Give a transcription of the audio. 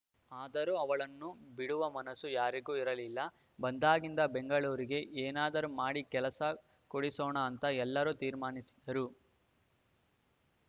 ಆದರೂ ಅವಳನ್ನು ಬಿಡುವ ಮನಸ್ಸು ಯಾರಿಗೂ ಇರಲಿಲ್ಲ ಬಂದಾಗಿಂದ ಬೆಂಗಳೂರಿಗೆ ಏನಾದರೂ ಮಾಡಿ ಕೆಲಸ ಕೊಡಿಸೋಣ ಅಂತ ಎಲ್ಲರೂ ತೀರ್ಮಾನಿಸಿದ್ದರು